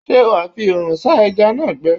Ṣé wà á fi oòrùn sá ẹja náà gbẹ?